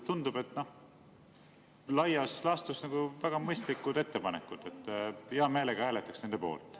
Tundub, et laias laastus on need väga mõistlikud ettepanekud, hea meelega hääletaks nende poolt.